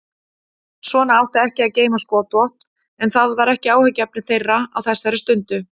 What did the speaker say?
Svona átti ekki að geyma skotvopn en það var ekki áhyggjuefni þeirra á þessari stundu.